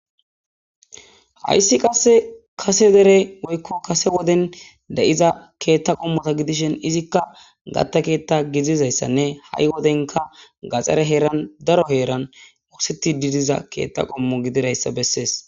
Hayssi qasse kase dere woykko kase woden de'iza keetta qommota gidishen izikka gatta keetta gidizayssanne ha'i wodenka gaxere heeran daro heeran mokseti didiza keetta qommo gidirayssa bessees.